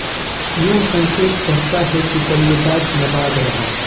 यह संकेत करता है कि बल्लेबाज नाबाद रहा